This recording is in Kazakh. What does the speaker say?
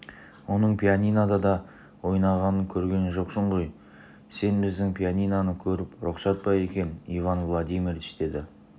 оның пианинода ойнағанын көрген жоқсың ғой сен біздің пианиноны көріп рұқсат па екен иван владимирович деді